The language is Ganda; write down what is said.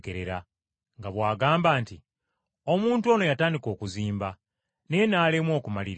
nga bw’agamba nti, ‘Omuntu ono yatandika okuzimba naye n’alemwa okumaliriza!’